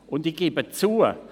Und ich gebe zu: